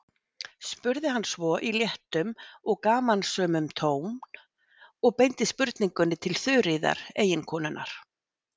spurði hann svo, í léttum og gamansömum tón, og beindi spurningunni til Þuríðar, eiginkonunnar.